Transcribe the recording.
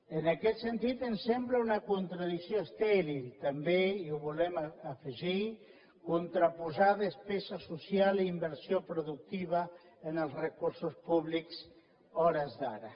en aquest sentit ens sembla una contradicció estèril també i ho volem afegir contraposar despesa social i inversió productiva en els recursos públics a hores d’ara